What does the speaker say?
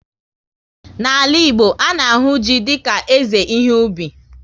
N'ala Igbo, a na-ahụ ji dika eze ihe ubi